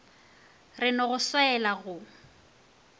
re no go swaela go